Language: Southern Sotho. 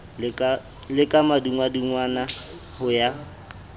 le ka madungwadungwana ho ya